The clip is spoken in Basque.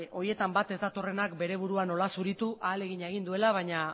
horietan bat ez datorrenak bere burua nola zuritu ahalegina egin duela baina